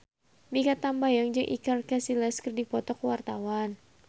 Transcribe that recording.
Mikha Tambayong jeung Iker Casillas keur dipoto ku wartawan